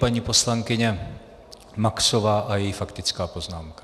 Paní poslankyně Maxová a její faktická poznámka.